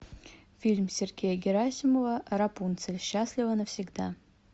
фильм сергея герасимова рапунцель счастлива навсегда